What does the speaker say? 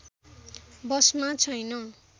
बसमा छैन